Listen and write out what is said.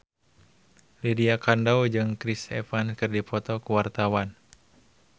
Lydia Kandou jeung Chris Evans keur dipoto ku wartawan